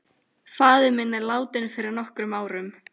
Faðir minn er látinn fyrir nokkrum árum.